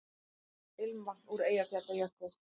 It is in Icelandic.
Ilmvatn úr Eyjafjallajökli